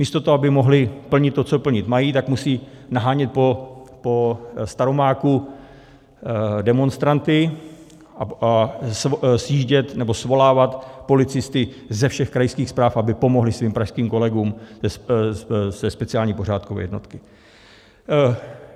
Místo toho, aby mohli plnit to, co plnit mají, tak musí nahánět po Staromáku demonstranty a svolávat policisty ze všech krajských správ, aby pomohli svým pražským kolegům ze speciální pořádkové jednotky.